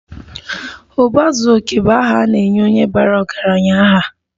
Uba zuo oke bu aha ana-enye onye bara ọgaranya aha.